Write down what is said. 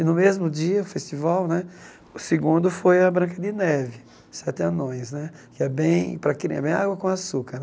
E no mesmo dia, festival né, o segundo foi A Branca de Neve, Sete Anões né, que é bem para crian bem água com açúcar né.